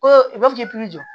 Ko i b'a fɔ k'i jɔ